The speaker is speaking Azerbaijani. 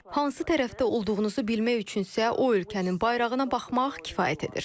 Hansı tərəfdə olduğunuzu bilmək üçün isə o ölkənin bayrağına baxmaq kifayət edir.